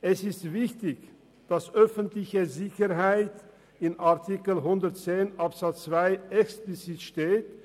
Es ist wichtig, dass in Artikel 110 Absatz 2 explizit öffentliche Sicherheit steht.